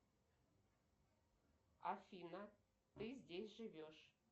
афина ты здесь живешь